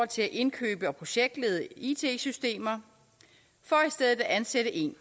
til at indkøbe og projektlede it systemer for i stedet at ansætte en